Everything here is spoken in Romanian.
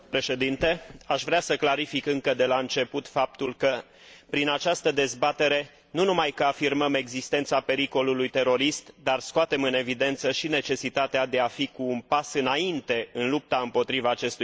Aș vrea să clarific încă de la început faptul că prin această dezbatere, nu numai că afirmăm existența pericolului terorist, dar scoatem în evidență și necesitatea de a fi cu un pas înainte în lupta împotriva acestui fenomen.